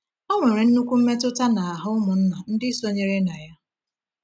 Ọ nwere nnukwu mmetụta n’ahụ ụmụnna ndị sonyere na ya.